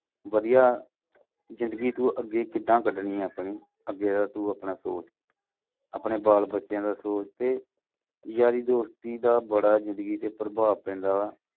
ਵਧੀਆ ਜ਼ਿੰਦਗੀ ਅੱਗੇ ਤੂੰ ਕਿੱਦਾਂ ਕਢਣੀਆਂ ਤੂੰ ਆਪਣੀ ਅੱਗੇ ਦਾ ਤੂੰ ਆਪਣਾ ਸੋਚ। ਆਪਣੇ ਬਾਲ ਬੱਚਿਆਂ ਦਾ ਸੋਚ ਤੇ ਯਾਰੀ ਦੋਸਤੀ ਦਾ ਬੜਾ ਜ਼ਿੰਦਗੀ ਤੇ ਪ੍ਰਭਾਵ ਪੈਂਦਾ ਵਾ।